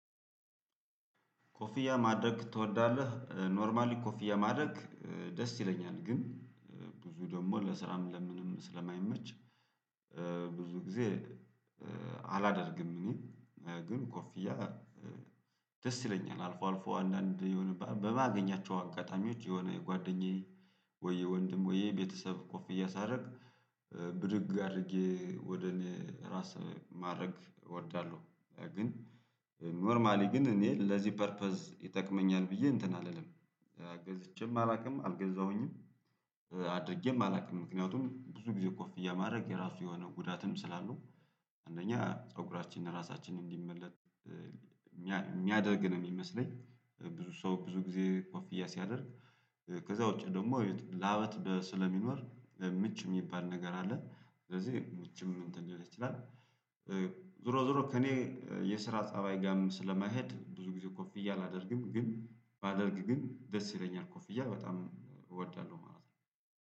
ኮፍያ ማድረግ ትወዳለህ? ኖርማሊ ኮፍያ ማድረግ ደስ ይለኛል ግን ብዙ ደግሞ ለስራም ለምንም ስለማይመች። ብዙ ጊዜ አላደርግም። እኔ ግን ኮፍያ ደስ ይለኛል አልፎ አልፎ አንዳንድ የሆነ በማገኛቸው አጋጣሚዎች የሆነ የጓደኛዬ ወይ የወንድም ወይ የቤተሰብ ኮፍያ ሳደርግ ብድግ አድርጌ ወደ እኔ ራስ ማድረግ እወዳለሁ። ግን ኖርማሊ ግን እኔ ለዚህ ፐርፐዝ ይጠቅመኛል ብዬ እንትን አልልም። ገዝቼም አላውቅም አልገዛሁኝም አድርጌም አላውቅም። ምክንያቱም ብዙ ጊዜ ኮፍያ ማድረግ የራሱ የሆነ ጉዳትም ስላለሁ አንደኛ ፀጉራችንን ራሳችንን እንዲመለጥ የሚያደርግ ነው የሚመስለኝ። ብዙ ሰው ብዙ ጊዜ ኮፍያ ሲያደርግ ከዛ ውጪ ደግሞ ላብ ስለሚኖር ምች የሚባል ነገር አለ። ስለዚህ ምቹም እንትን ሊል ይችላል። ዞሮ ዞሮ ከእኔ የስራ ፀባይ ጋርም ስለማይሄድ ብዙ ጊዜ ኮፍያ አላደርግም። ግን ባደርግ ግን ደስ ይለኛል ኮፍያ በጣም እወዳለሁ ማለት ነው